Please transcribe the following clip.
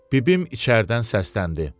Bibim içəridən səsləndi.